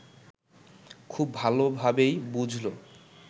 খুব ভালোভাবেই বুঝল